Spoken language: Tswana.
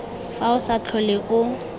fa o sa tlhole o